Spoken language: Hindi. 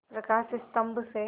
प्रकाश स्तंभ से